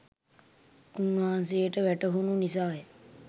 උන්වහන්සේට වැටහුණු නිසා ය.